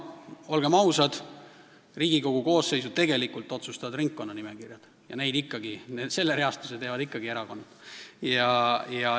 Olgem ausad, Riigikogu koosseisu tegelikult otsustavad ringkonnanimekirjad, mille reastuse teevad ikkagi erakonnad.